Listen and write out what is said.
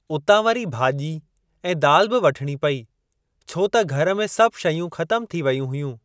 उतां वरी भाॼी ऐं दाल बि वठणी पेई, छो त घर में सभ शयूं ख़तम थी वेयूं हुयूं।